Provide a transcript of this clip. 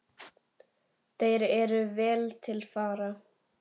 Þeir eru vel til fara.